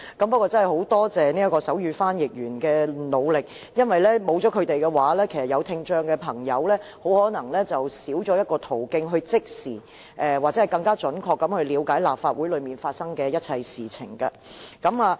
不過，我真的很感謝手語傳譯員的努力，因為如果沒有他們的話，聽障朋友就可能少一個途徑，可以即時或更加準確地了解立法會發生的一切事情。